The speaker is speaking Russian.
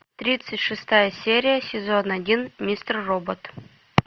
тридцать шестая серия сезон один мистер робот